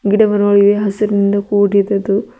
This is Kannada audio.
ಗಿಡ ಮರಗಳು ಇವೆ ಹಸಿರಿನಿಂದ ಕುಡಿದಿದ್ದು--